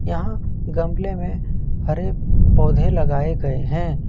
यहां गमले में हरे पौधे लगाए गए हैं।